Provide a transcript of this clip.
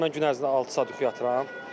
Misal mən gün ərzində altı saat yuxu yatıram.